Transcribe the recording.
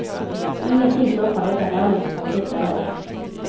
Ingenting stoppar detta härligt kompletta lag.